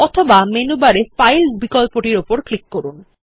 অথবা মেনু বারে ফাইল বিকল্প টির উপর ক্লিক করুন